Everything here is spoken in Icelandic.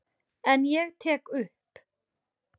En ég tek upp.